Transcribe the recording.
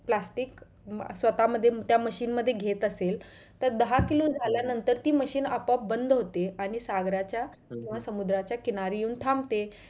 plastic स्वतः मध्ये त्या machine मध्ये घेत असेल तर दहा किलो झाल्या नंतर ती machine आपोआप बंद होते आणि सागराच्या किंवा समुद्राच्या किनारी येऊन थांबते.